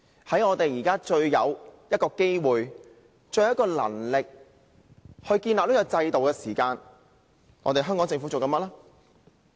在我們最有機會、最有能力建立這個制度時，香港政府在做甚麼呢？